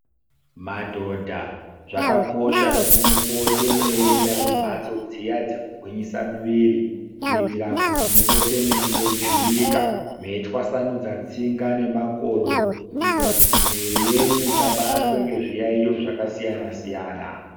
Madhodha zvakakosha muende kumbatso dziya dzekugwinyisira mwiri kuitira kuti umpire meijuwika meitwasanydza tsinga nemakodo kuitira kuti miti yenyu usabatwa nezviyaiyo zvakasiyana siyana.